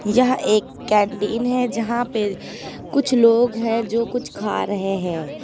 यह एक कैंटीन है यहां पे कुछ लोग हैं जो कुछ खा रहे हैं।